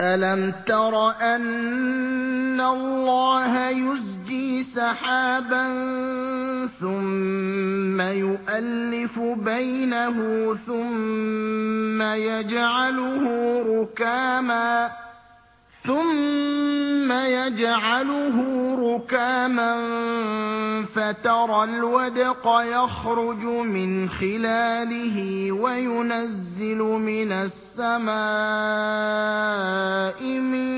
أَلَمْ تَرَ أَنَّ اللَّهَ يُزْجِي سَحَابًا ثُمَّ يُؤَلِّفُ بَيْنَهُ ثُمَّ يَجْعَلُهُ رُكَامًا فَتَرَى الْوَدْقَ يَخْرُجُ مِنْ خِلَالِهِ وَيُنَزِّلُ مِنَ السَّمَاءِ مِن